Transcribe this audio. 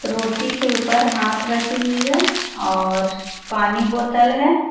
रोटी के ऊपर हाथ रखी हुई है और पानी बोतल है।